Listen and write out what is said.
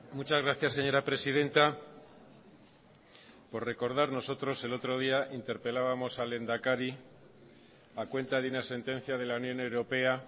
muchas gracias señora presidenta por recordar nosotros el otro día interpelábamos al lehendakari a cuenta de una sentencia de la unión europea